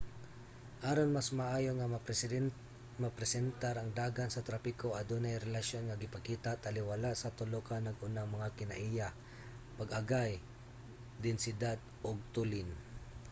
aron mas maayo nga mapresentar ang dagan sa trapiko adunay relasyon nga gipakita taliwala sa tulo ka nag-unang mga kinaiya: 1 pag-agay 2 densidad ug 3 tulin